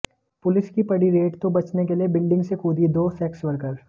police की पड़ी raid तो बचने के लिए बिल्डिंग से कूदीं दो सेक्स वर्कर